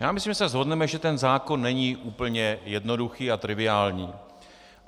Já myslím, že se shodneme, že ten zákon není úplně jednoduchý a triviální.